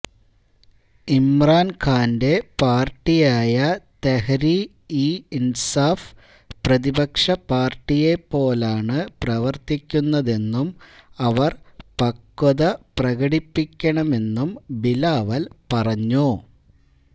ഇമ്രാൻ ഖാന്റെ പാർട്ടിയായ തെഹരീ ഇ ഇൻസാഫ് പ്രതിപക്ഷ പാർട്ടിയെപ്പോലാണ് പ്രവർത്തിക്കുന്നതെന്നും അവർ പക്വത പ്രകടിപ്പിക്കണമെന്നും ബിലാവൽ പറഞ്ഞു